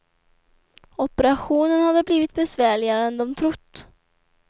Operationen hade blivit besvärligare än de trott.